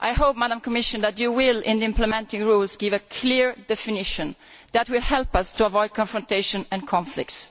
I hope, Madam Commissioner, that you will, in the implementing rules, give a clear definition that will help us avoid confrontation and conflicts.